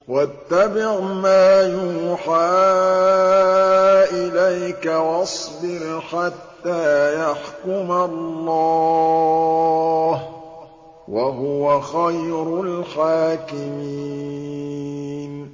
وَاتَّبِعْ مَا يُوحَىٰ إِلَيْكَ وَاصْبِرْ حَتَّىٰ يَحْكُمَ اللَّهُ ۚ وَهُوَ خَيْرُ الْحَاكِمِينَ